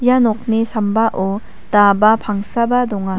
ia nokni sambao daba pangsaba donga.